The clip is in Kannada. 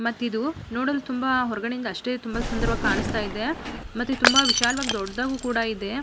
ಮತ್ ಇದು ನೋಡಲು ತುಂಬಾ ಹೊರಗಡೆ ಇಂದ ಅಷ್ಟೇ ತುಂಬಾ ಸುಂದರವಾಗಿ ಕಾಣಿಸ್ತಾ ಇದೆ ಮತ್ತೆ ತುಂಬಾ ವಿಶಾಲವಾಗಿ ದೊಡ್ಡದಾಗಿ ಕೂಡ ಇದೆ.